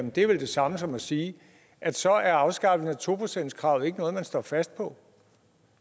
det er vel det samme som at sige at så er afskaffelsen af to procentskravet ikke noget man står fast på